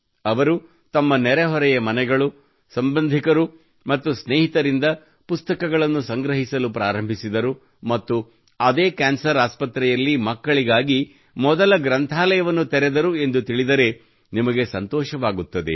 ಅವಳು ತಮ್ಮ ನೆರೆಹೊರೆಯ ಮನೆಗಳು ಸಂಬಂಧಿಕರು ಮತ್ತು ಸ್ನೇಹಿತರಿಂದ ಪುಸ್ತಕಗಳನ್ನು ಸಂಗ್ರಹಿಸಲು ಪ್ರಾರಂಭಿಸಿದಳು ಮತ್ತು ಅದೇ ಕ್ಯಾನ್ಸರ್ ಆಸ್ಪತ್ರೆಯಲ್ಲಿ ಮಕ್ಕಳಿಗಾಗಿ ಮೊದಲ ಗ್ರಂಥಾಲಯವನ್ನು ತೆರೆದಳು ಎಂದು ತಿಳಿದರೆ ನಿಮಗೆ ಸಂತೋಷವಾಗುತ್ತದೆ